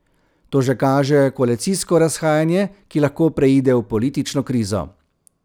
To že kaže koalicijsko razhajanje, ki lahko preide v politično krizo.